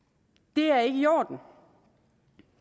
det er ikke i orden